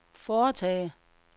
foretage